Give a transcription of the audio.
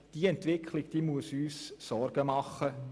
Diese Entwicklung muss uns Sorgen machen.